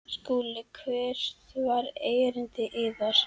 SKÚLI: Hvert var erindi yðar?